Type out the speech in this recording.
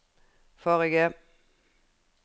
forrige